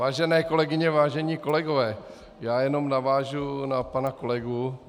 Vážené kolegyně, vážení kolegové, já jenom navážu na pana kolegu.